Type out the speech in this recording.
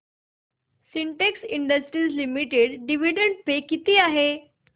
Sintex Industries Limited dividend pay किती आहे